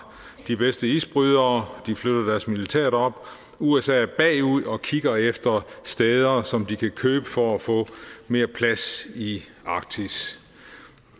de bedste isbrydere og de flytter deres militær derop usa er bagud og kigger efter steder som de kan købe for at få mere plads i arktis